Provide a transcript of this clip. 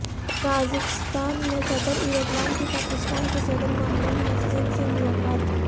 Kazakhstan میں صدر Erdogan کی پاکستان کے صدر ممنون حیسن سے ملاقات